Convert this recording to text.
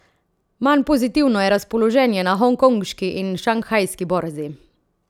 Manj pozitivno je razpoloženje na hongkonški in šanghajski borzi.